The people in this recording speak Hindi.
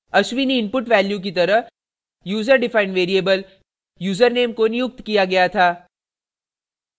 ashwini input value की तरह यूज़र डिफाइंड variable यूज़रनेम को नियुक्त किया गया था